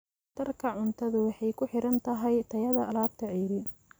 Waxtarka cuntadu waxay ku xiran tahay tayada alaabta ceeriin.